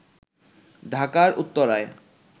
ঢাকার উত্তরায়